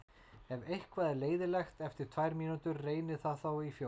Ef eitthvað er leiðinlegt eftir tvær mínútur, reynið það þá í fjórar.